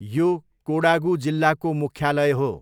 यो कोडागू जिल्लाको मुख्यालय हो।